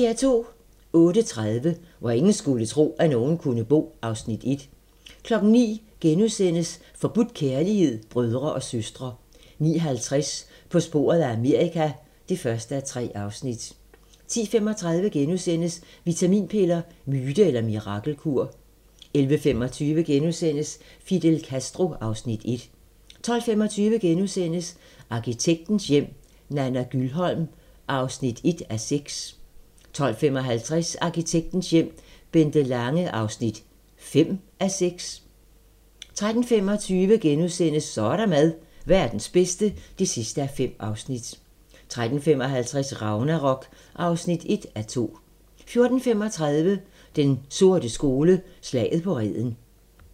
08:30: Hvor ingen skulle tro, at nogen kunne bo (Afs. 1) 09:00: Forbudt kærlighed - brødre og søstre * 09:50: På sporet af Amerika (1:3) 10:35: Vitaminpiller - myte eller mirakelkur? * 11:25: Fidel Castro (Afs. 1)* 12:25: Arkitektens hjem - Nana Gyldholm (1:6)* 12:55: Arkitektens hjem - Bente Lange (5:6) 13:25: Så er der mad - Verdens bedste (5:5)* 13:55: Ragnarok (1:2) 14:35: Den sorte skole: Slaget på Reden